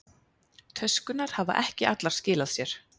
Töskurnar hafa ekki allar skilað sér